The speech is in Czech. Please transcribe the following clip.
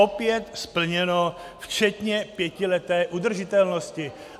Opět splněno včetně pětileté udržitelnosti.